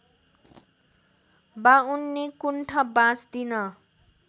बाउन्नी कुण्ठा बाँच्दिन